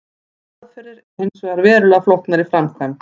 Þær aðferðir eru hins vegar verulega flóknar í framkvæmd.